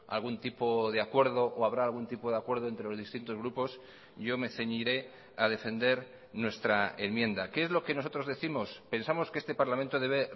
algún tipo de acuerdo o habrá algún tipo de acuerdo entre los distintos grupos yo me ceñiré a defender nuestra enmienda qué es lo que nosotros décimos pensamos que este parlamento debe